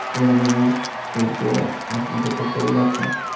অ্যালুমিনিয়ামের শীট দিয়া আর দুইট টেবিল আছে।